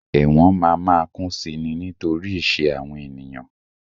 Ẹ̀wọ̀n ma máa kún si ni nítorí ìṣe àwọn ènìyàn.